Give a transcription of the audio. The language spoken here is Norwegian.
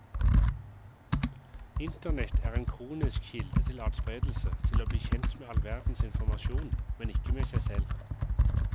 Internett er en kronisk kilde til adspredelse, til å bli kjent med all verdens informasjon, men ikke med seg selv.